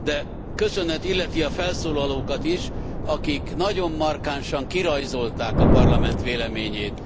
De köszönet illeti a felszólalókat is, akik nagyon markánsan kirajzolták a Parlament véleményét.